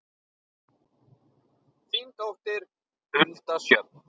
Þín dóttir, Hulda Sjöfn.